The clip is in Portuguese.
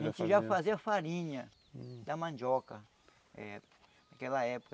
A gente já fazia farinha da mandioca eh naquela época.